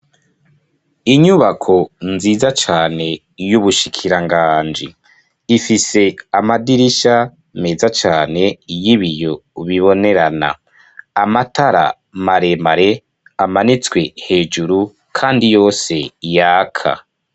Inyubako nziza cane y'Ubushikiranganji ifise amadirisha meza cane y'ibiyo bibonerana amatara maremare amanitswe hejuru kandi yose yaka.